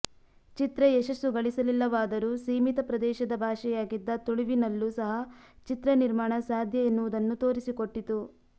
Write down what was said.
ಚಿತ್ರ ಯಶಸ್ಸು ಗಳಿಸಲಿಲ್ಲವಾದರೂ ಸೀಮಿತ ಪ್ರದೇಶದ ಭಾಷೆಯಾಗಿದ್ದ ತುಳುವಿನಲ್ಲೂ ಸಹ ಚಿತ್ರ ನಿರ್ಮಾಣ ಸಾಧ್ಯ ಎನ್ನುವುದನ್ನು ತೋರಿಸಿಕೊಟ್ಟಿತು